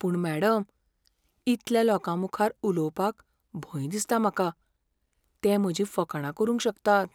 पूण मॅडम, इतल्या लोकां मुखार उलोवपाक भंय दिसता म्हाका. ते म्हजी फकाणां करूंक शकतात.